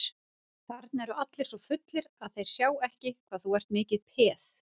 Þarna eru allir svo fullir að þeir sjá ekki hvað þú ert mikið peð.